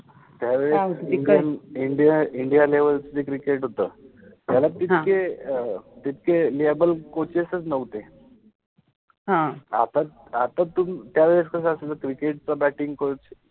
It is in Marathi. त्यावेळेस एकदम India {India} India {India} level {level} च जे क्रिकेट {cricket} होत त्याला तितके अ लेबल कोचेसच नवते, ह, आपण आपण तुम त्यावेळेस कस असायच क्रिकेट {cricket} च बॅटिंग {batting} कोच